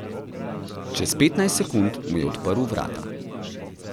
Čez petnajst sekund mu je odprl vrata.